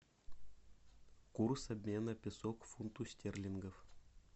курс обмена песо к фунту стерлингов